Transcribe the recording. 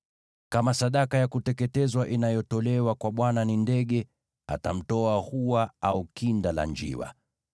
“ ‘Kama sadaka ya kuteketezwa inayotolewa kwa Bwana ni ndege, atamtoa hua au kinda la njiwa.